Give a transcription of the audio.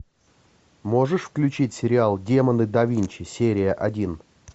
можешь включить сериал демоны да винчи серия один